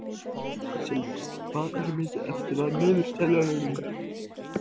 Sylvía, hvað er mikið eftir af niðurteljaranum?